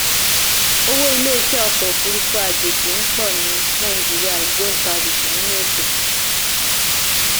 owó iléeṣẹ́ ọkọ̀ òfurufú àjèjì ń pọ̀ ní nàìjíríà ògbóntarìgì nínú ètò.